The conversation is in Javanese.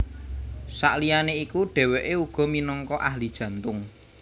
Saliyané iku dhèwèké uga minangka ahli jantung